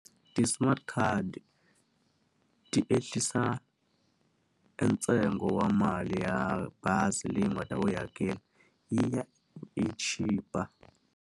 Ti-smart card ti ehlisa e ntsengo wa mali ya bazi leyi u nga ta va u yi hakela, yi ya yi chipa.